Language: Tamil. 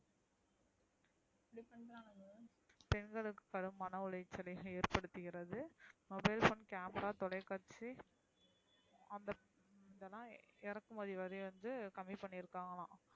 பெண்களுக்கு கடும் மன உளைச்சலை ஏற்படுத்துகிறது mobile phone camera தொலைகாட்சி எறக்குமதி வரி வந்து கம்மி பனிருக்காகலாம்